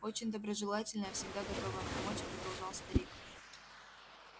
очень доброжелательная всегда готовая помочь продолжал старик